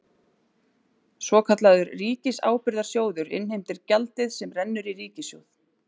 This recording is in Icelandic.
Svokallaður ríkisábyrgðasjóður innheimtir gjaldið sem rennur í ríkissjóð.